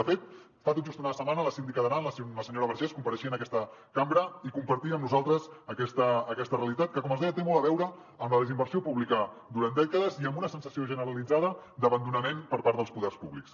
de fet fa tot just una setmana la síndica d’aran la senyora vergés compareixia en aquesta cambra i compartia amb nosaltres aquesta realitat que com els deia té molt a veure amb la desinversió pública durant dècades i amb una sensació generalitzada d’abandonament per part dels poders públics